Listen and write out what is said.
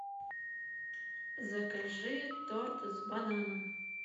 закажи торт с бананом